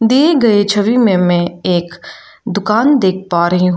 दिए गए छवि में मैं एक दुकान देख पा रही हूं।